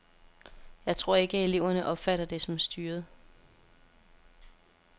Jeg tror ikke, at eleverne opfatter det som styret.